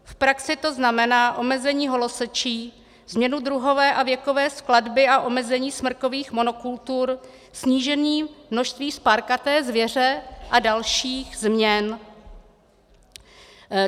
V praxi to znamená omezení holosečí, změnu druhové a věkové skladby a omezení smrkových monokultur, snížení množství spárkaté zvěře a dalších změn.